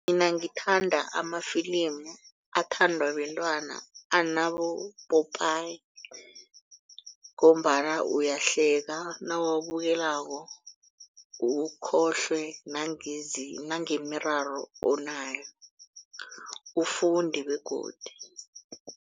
Mina ngithanda amafilimu athandwa bentwana anabopopayi ngombana uyahleka nawabukelako ukhohlwe nangemiraro onayo ufunde begodu.